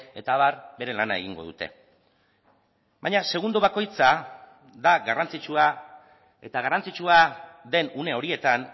eta abar bere lana egingo dute baina segundo bakoitza da garrantzitsua eta garrantzitsua den une horietan